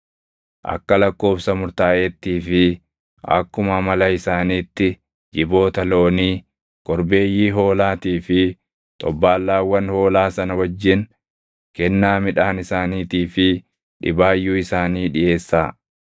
Akka lakkoobsa murtaaʼeettii fi akkuma amala isaaniitti jiboota loonii, korbeeyyii hoolaatii fi xobbaallaawwan hoolaa sana wajjin kennaa midhaan isaaniitii fi dhibaayyuu isaanii dhiʼeessaa.